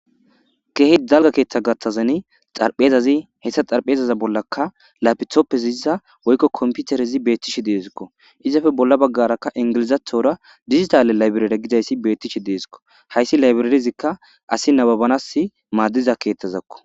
Keeh dalga ketha gathan xaraphezazi haysa xaraphezaza bollaka laptopeziysa woykko computerez betishe de'esko. Izippe bolla bagaraka digital library gizays betishe de'esko. Hays libraryzika asiy nababana madiza kethazako.